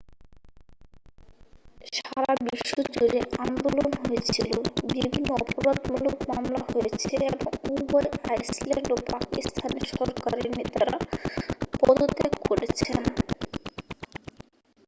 সারা বিশ্ব জুড়ে আন্দোলন হয়েছিল বিভিন্ন অপরাধমূলক মামলা হয়েছে এবং উভয় আইসল্যান্ড ও পাকিস্তানের সরকারের নেতারা পদত্যাগ করেছেন